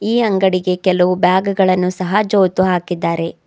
ಈ ಅಂಗಡಿಗೆ ಕೆಲವು ಬ್ಯಾಗ್ ಗಳನ್ನು ಸಹ ಜೋತು ಹಾಕಿದ್ದಾರೆ.